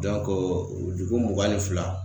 dugu mugan ni fila.